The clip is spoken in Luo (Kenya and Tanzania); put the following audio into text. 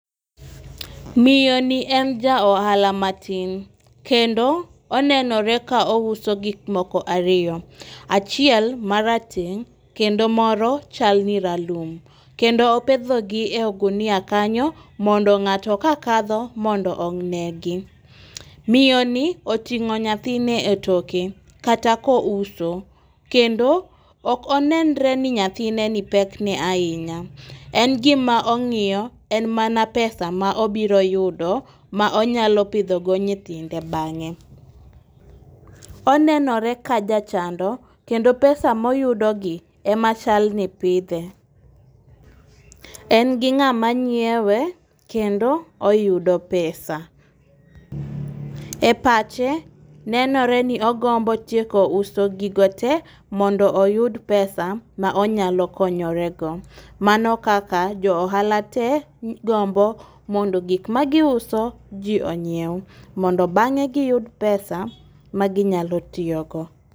Miyo ni en ja ohala matin kendo onenore ka o uso gik moko ariyo . Achiel marateng' kendo moro chal ni ralum kendo opedho gi e ogunia kanyo mondo ng'ato kakadho mondo onegi .Miyo ni oting'o nyathine e toke kata kouso kendo ok onenre ni nyathine ni bekne ahinya. En gima ong'iyo en mana pesa ma obiro yudo ma onyalo pdho go nyithinde bang'e. Onenore ka jachando kendo pesa moyudo gi ema chal ni pidhe . En gi ng'ama nyiewe kendo oyudo pesa. E pache, nenore ni ogombo tieko uso gigo te mondo oyud pesa ma onyalo konyore go. Mano kaka jo ohala te gombo modno gik ma giuso jii onyiew mondo bang'e giyud pesa ma ginyalo tiyogo.